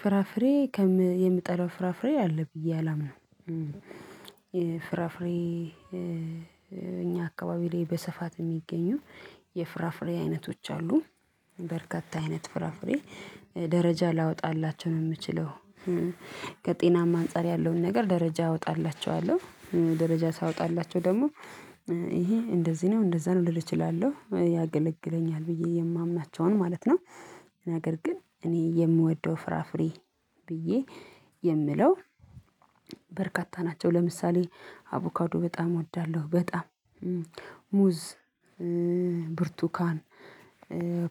ፍራፍሬ የምጠላው ፍራፍሬ አለ ብዬ አላምንም። ፍራፍሬ እኛ አካባቢ ላይ በሰፋት የሚገኙ የፍራፍሬ አይነቶች አሉ። በርካታ አይነት ፍራፍሬ ደረጃ ላወጣላቸው ነው የምችለው። ከጤናማ አንፃር ያለውን ነገር ደረጃ አወጣላቸዋለሁ ደረጃ ሳወጣላቸው ደግሞ ይሄ እንደዚህ ነው እንደዛ ነው ልል እችላለሁ ያገለግለኛል ብዬ የማምናቸውን ማለት ነው። ነገር ግን እኔ የምወደው ፍራፍሬ ብዬ የምለው በርካታ ናቸው። ለምሳሌ አቮካዶ በጣም እወዳለሁ በጣም ሙዝ ብርቱካን